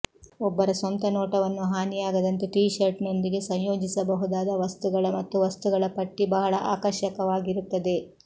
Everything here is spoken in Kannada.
ಒಬ್ಬರ ಸ್ವಂತ ನೋಟವನ್ನು ಹಾನಿಯಾಗದಂತೆ ಟಿ ಶರ್ಟ್ನೊಂದಿಗೆ ಸಂಯೋಜಿಸಬಹುದಾದ ವಸ್ತುಗಳ ಮತ್ತು ವಸ್ತುಗಳ ಪಟ್ಟಿ ಬಹಳ ಆಕರ್ಷಕವಾಗಿರುತ್ತದೆ